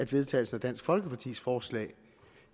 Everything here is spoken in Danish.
vedtagelse af dansk folkepartis forslag